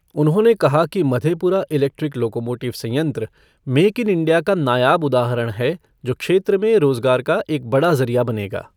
उन्होंने कहा कि माधेपुरा इेलेक्ट्रिक लोकोमोटिव संयंत्र मेक इन इंडिया का नायाब उदाहरण है जो क्षेत्र में रोजगार का एक बड़ा जरिया बनेगा।